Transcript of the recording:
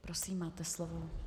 Prosím, máte slovo.